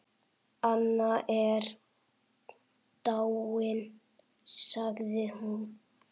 Anna er dáin sagði hún.